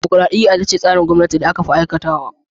Dimukraɗiya ita ce tsarin gwamnati da aka fi aiwatar wa.